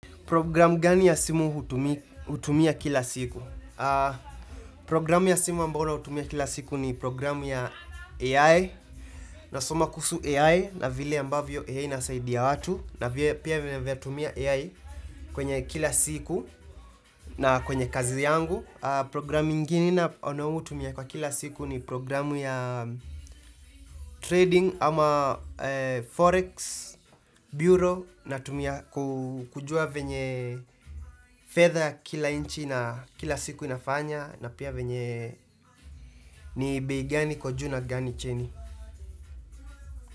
Programu gani ya simu hutumia kila siku? Programu ya simu ambalo hutumia kila siku ni programu ya AI, nasoma kusu AI na vile ambavyo AI inasaidia watu, na vile pia venye natumia AI kwenye kila siku na kwenye kazi yangu. Programu ingine ninau tumia kwa kila siku ni programu ya, trading ama forex bureau natumia kujua venye fedha ya kila inchi na kila siku inafanya na pia venye ni bei gani iko juu na gani chini.